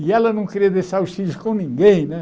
E ela não queria deixar os filhos com ninguém, né?